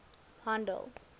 handel